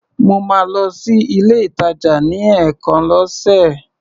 Mo máa ń lọ sí ilé-ìtàjà ní ẹ̀ẹ̀kan lọ́sè.